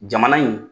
Jamana in